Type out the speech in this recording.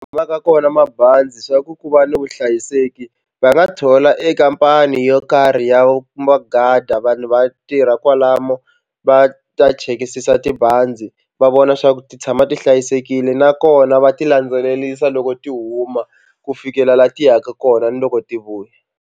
Vaka kona mabazi swa ku ku va ni vuhlayiseki va nga thola e khampani yo karhi ya vanhu va tirha kwalano va ta chekisisa tibazi va vona swa ku ti tshama ti hlayisekile nakona va ti landzelerisa loko ti huma ku fikela laha ti yaka kona ni loko ti vuya.